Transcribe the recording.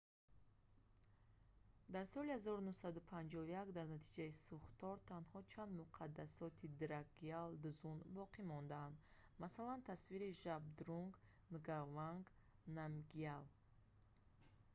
дар соли 1951 дар натиҷаи сӯхтор танҳо чанд муқадассоти дракгял дзун боқӣ монданд масалан тасвири жабдрунг нгаванг намгял